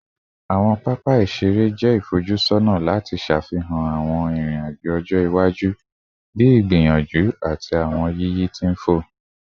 Awọn papa iṣere iṣere jẹ ifojusọna lati ṣafihan awọn irin-ajo ọjọ-iwaju bii igbiyanju ati awọn yiyi ti nfò